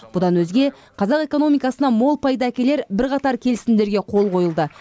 бұдан өзге қазақ экономикасына мол пайда әкелер бірқатар келісімдерге қол қойылды